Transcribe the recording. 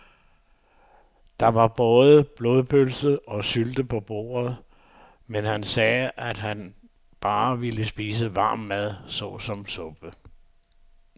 Der var både blodpølse og sylte på bordet, men han sagde, at han bare ville spise varm mad såsom suppe.